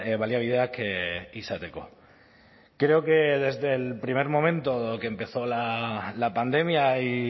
baliabideak izateko creo que desde el primer momento que empezó la pandemia y